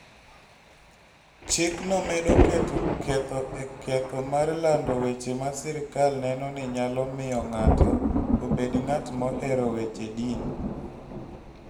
Chikno medo keto ketho e ketho mar lando weche ma sirkal neno ni nyalo miyo ng'ato obed ng'at mohero weche din.